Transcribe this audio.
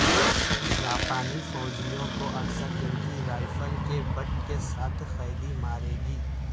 جاپانی فوجیوں کو اکثر ان کی رائفل کے بٹ کے ساتھ قیدی مارے گی